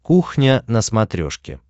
кухня на смотрешке